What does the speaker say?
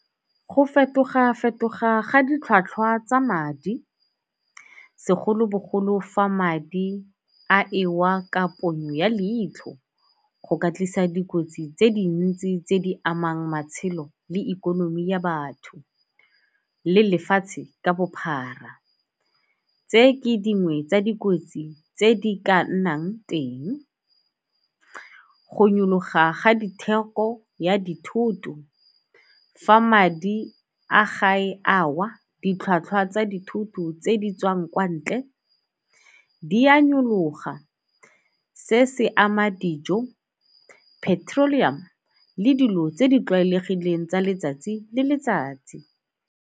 Go fetoga-fetoga ga ditlhwatlhwa tsa madi segolobogolo fa madi a ewa ka ponyo ya leitlho go ka tlisa dikotsi tse dintsi tse di amang matshelo le ikonomi ya batho le lefatshe ka bophara. Tse ke dingwe tsa dikotsi tse di ka nnang teng, go nyoloha ga ditheko ya dithoto. Fa madi a gae a wa ditlhwatlhwa tsa dithoto tse di tswang kwa ntle di a nyoloha. Se se ama dijo, petrolium le dilo tse di tlwaelegileng tsa letsatsi le letsatsi.